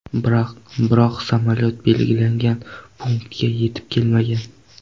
Biroq samolyot belgilangan punktga yetib kelmagan.